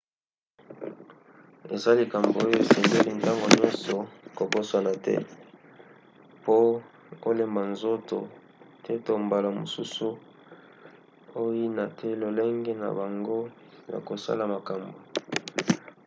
eza likambo oyo osengeli ntango nyonso kobosana te po olemba nzoto te to mbala mosusu oyina te lolenge na bango ya kosala makambo